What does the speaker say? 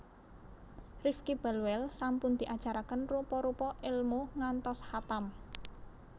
Rifky Balweel sampun diajaraken rupa rupa elmu ngantos khatam